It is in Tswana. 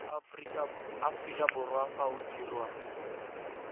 aforika borwa fa o dirwa